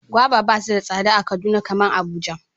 Gwaiva basu da tsada a kaduna kaman Abuja.